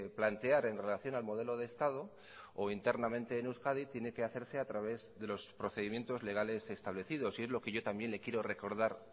plantear en relación al modelo de estado o internamente en euskadi tiene que hacerse a través de los procedimientos legales establecidos y es lo que yo también le quiero recordar